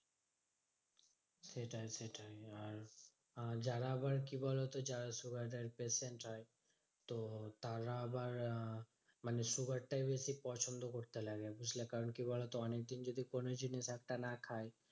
সেটাই সেটাই আর আহ যারা আবার কি বলতো যারা sugar এর patient হয় তো তারা আবার আহ মানে sugar টাই বেশি পছন্দ করতে লাগে বুঝলে? কারণ কি বলতো? অনেকদিন কোনো জিনিস একটা না খায়